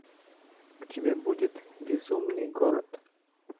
у тебя будет безумный город